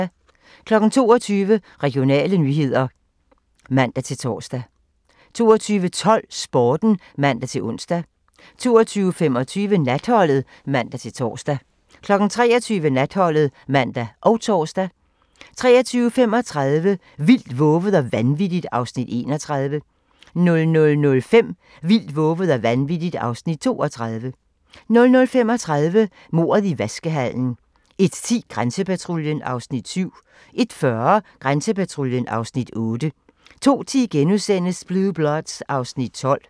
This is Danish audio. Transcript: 22:00: Regionale nyheder (man-tor) 22:12: Sporten (man-ons) 22:25: Natholdet (man-tor) 23:00: Natholdet (man og tor) 23:35: Vildt, vovet og vanvittigt (Afs. 31) 00:05: Vildt, vovet og vanvittigt (Afs. 32) 00:35: Mordet i vaskehallen 01:10: Grænsepatruljen (Afs. 7) 01:40: Grænsepatruljen (Afs. 8) 02:10: Blue Bloods (Afs. 12)*